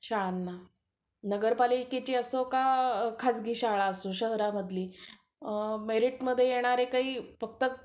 शाळांना. नगरपालिकेची असो व खाजगी शाळा असो शहरामधली मेरिटमध्ये येणारे काही फक्त